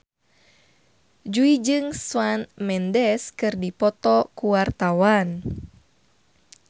Jui jeung Shawn Mendes keur dipoto ku wartawan